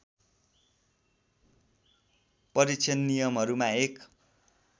परीक्षण नियमहरूमा एक